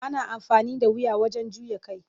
Ana amfani da wuya wajen juya kai.